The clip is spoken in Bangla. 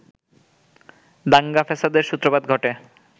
দাঙ্গা-ফ্যাসাদের সূত্রপাত ঘটে